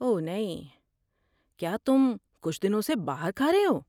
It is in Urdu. اوہ نہیں، کیا تم کچھ دنوں سے باہر کھا رہے ہو؟